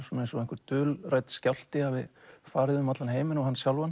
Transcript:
eins og einhver dulrænn skjálfti hafi farið um allan heiminn og hann sjálfan